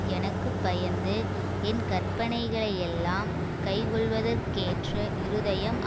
எனக்கு பயந்து என் கற்பனைகளையெல்லாம் கைக்கொள்வதற்கேற்ற இருதயம்